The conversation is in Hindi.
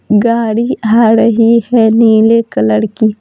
गाड़ी आ रही है नीले कलर की।